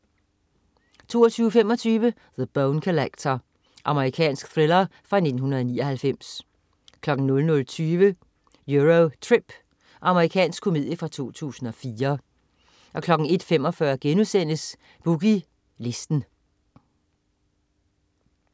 22.25 The Bone Collector. Amerikansk thriller fra 1999 00.20 Euro Trip. Amerikansk komedie fra 2004 01.45 Boogie Listen*